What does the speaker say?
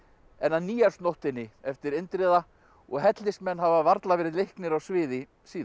en á Nýársnóttinni eftir Indriða og hellismenn hafa varla verið leiknir á sviði síðan